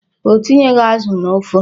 O tinyeghị azụ n'ofe.